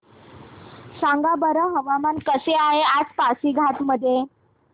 सांगा बरं हवामान कसे आहे आज पासीघाट मध्ये